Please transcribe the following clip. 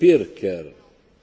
Herr Präsident!